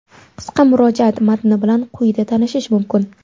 Qisqa murojaat matni bilan quyida tanishish mumkin.